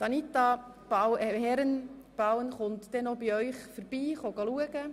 Anita Herren wird noch bei Ihnen vorbeikommen.